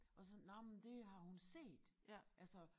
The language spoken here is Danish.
Og sådan nåh men det har hun set altså